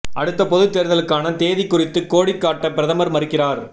அடுத்த பொதுத் தேர்தலுக்கான தேதி குறித்து கோடி காட்ட பிரதமர் மறுக்கிறார்